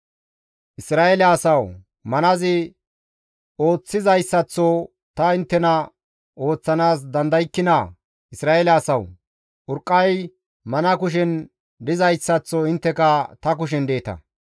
«Isra7eele asawu! Manazi ooththizayssaththo ta inttena ooththanaas dandaykkinaa? Isra7eele asawu! Urqqay mana kushen dizayssaththo intteka ta kushen deeta.